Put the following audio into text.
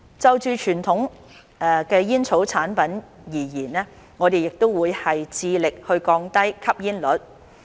就傳統煙草產品而言，我們亦會繼續致力降低吸煙率。